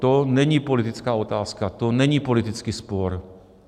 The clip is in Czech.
To není politická otázka, to není politický spor.